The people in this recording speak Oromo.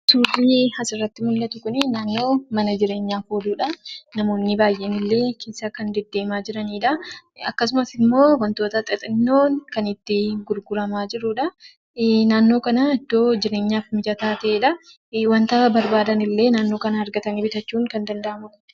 Suurri asirratti mul'atu kun naannoo mana jireenyaa namoonni baay'een illee kan keessa deddeemaa jiranidha. Akkasumas immoo wantoonni xixinnoon kan itti argamudha. Naannoon kun iddoo jireenyaaf mijataa ta'edha. Wanta barbaadanillee barbaadanii naannoo kanaa bitachuun salphaadha.